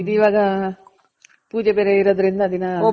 ಇದು ಇವಾಗ ಪೂಜೆ ಬೇರೆ ಇರೋದ್ರಿಂದ ದಿನ.